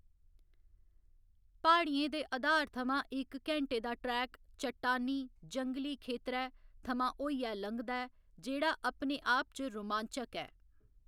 प्हाड़ियें दे अधार थमां इक घैंटे दा ट्रैक चट्टानी, जंगली खेतरै थमां होइयै लंघदा ऐ, जेह्‌‌ड़ा अपने आप च रोमांचक ऐ।